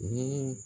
Ni